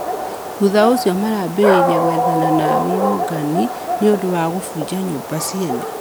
Thũtha ũcĩo marambirĩĩrĩe gwethana na arũrũngani nĩundũ wa kũbũnja nyũmba cĩene